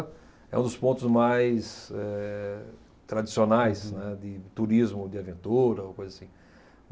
É um dos pontos mais eh tradicionais, né, de turismo, de aventura, ou coisa assim.